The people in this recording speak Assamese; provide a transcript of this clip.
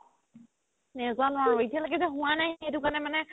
নেজানো আৰু এতিয়া লৈকে হুৱা নাই সেইটো কাৰণে মানে